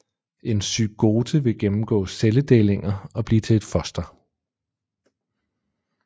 En zygote vil gennemgå celledelinger og blive til et foster